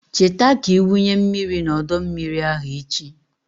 Cheta ka ị wunye mmiri n'ọdọ mmiri ahụ echi.